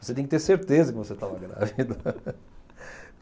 Você tem que ter certeza que você estava grávida.